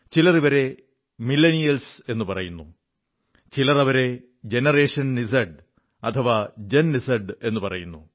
ചിലർ അവരെ മില്ലനിയൽസ് എന്നു പറയുന്നു ചിലർ അവരെ ജനറേഷൻ ഇസഡ് അഥവാ ജൻ ഇസഡ് എന്നും പറയുന്നു